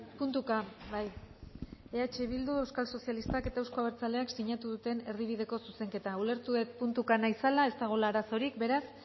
puntuka bai eh bildu euskal sozialistak eta euzko abertzaleak sinatu duten erdibideko zuzenketa ulertu dut puntuka nahi zela ez dagoela arazorik beraz